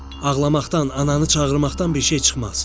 Ağlamaqdan, ananı çağırmaqdan bir şey çıxmaz.